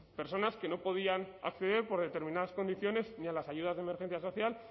personas que no podían acceder por determinadas condiciones ni a las ayudas de emergencia social